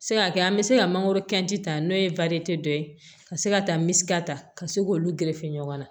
Se ka kɛ an bɛ se ka mangoro ta n'o ye dɔ ye ka se ka taa ta ka se k'olu gerefe ɲɔgɔn na